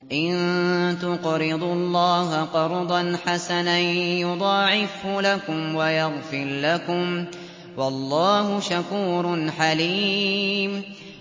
إِن تُقْرِضُوا اللَّهَ قَرْضًا حَسَنًا يُضَاعِفْهُ لَكُمْ وَيَغْفِرْ لَكُمْ ۚ وَاللَّهُ شَكُورٌ حَلِيمٌ